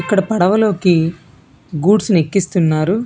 ఇక్కడ పడవలోకి గూడ్స్ ని ఎక్కిస్తున్నారు.